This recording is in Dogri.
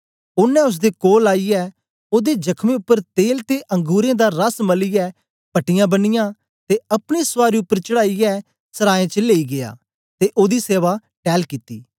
ओनें ओसदे कोल आईयै ओदे जख्मे उपर तेल ते अंगुरें दा रस मलियै पट्टियां बनियाँ ते अपनी सवारी उपर चढाईयै सराय च लेई गीया ते ओदी सेवा टैल कित्ती